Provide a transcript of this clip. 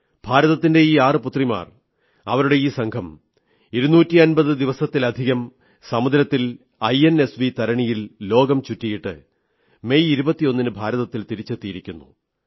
ഭാരതത്തിന്റെ ഈ 6 പുത്രിമാർ അവരുടെ ഈ സംഘം ഇരുന്നൂറ്റിയമ്പതു ദിവസത്തിലധികം സമുദ്രത്തിൽ ഐഎൻഎസ്വി തരിണിയിൽ ലോകം ചുറ്റിയിട്ട് മെയ് 21 ന് ഭാരതത്തിൽ തിരിച്ചെത്തിയിരിക്കുന്നു